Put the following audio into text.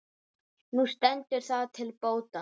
Nú stendur það til bóta.